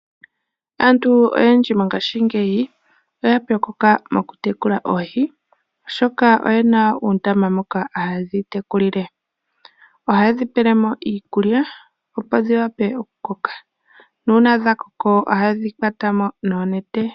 Aantu oyendji mongashingeyi oya pyokoka mokutekula oohi , oshoka oyena uundama moka haye dhi tekulile. Ohaye dhi iikulya opo dhiwape okukoka, nuuna dhakoka ohaye dhi kwatamo noonete.